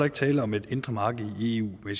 ikke tale om et indre marked i eu i